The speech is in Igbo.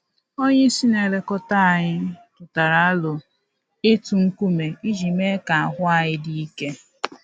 Onye isi na-elekọta anyị tụtara aro ịtụ nkume iji mee ka ahụ anyị dị ike